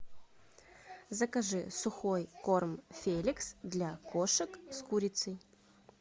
закажи сухой корм феликс для кошек с курицей